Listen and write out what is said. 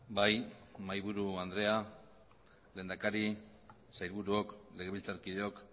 bai mahaiburu andrea lehendakari sailburuok legebiltzarkideok